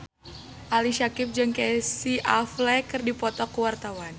Ali Syakieb jeung Casey Affleck keur dipoto ku wartawan